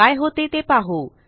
काय होते ते पाहू